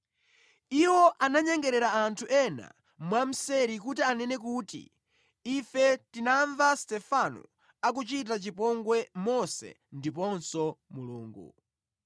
Iwo ananyengerera anthu ena mwamseri kuti anene kuti, “Ife tinamva Stefano akuchitira chipongwe Mose ndiponso Mulungu.”